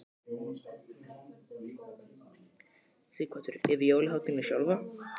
Sighvatur: Yfir jólahátíðina sjálfa?